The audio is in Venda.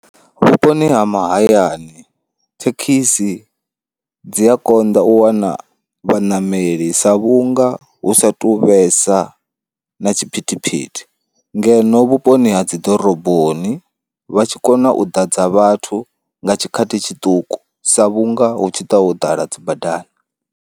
Vhuponi ha mahayani thekhisi dzi a konḓa u wana vhaṋameli sa vhunga hu sa tu vhesa na tshiphithiphithi, ngeno vhuponi ha dzi ḓoroboni vha tshi kona u ḓadza vhathu nga tshikhathi tshiṱuku sa vhunga hu tshi ṱa ho ḓala dzi badani.